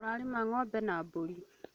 Mararĩma ng'ombe na mbũri